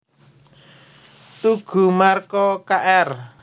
Toegoe Marco Kr